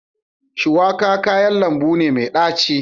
Shuwaka kayan lambu ne mai daci.